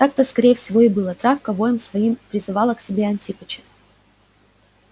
так-то скорее всего и было травка воем своим призывала к себе антипыча